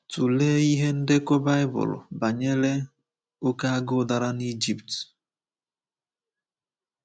Tụlee ihe ndekọ baịbụl banyere oké agụụ dara n’Ijipt.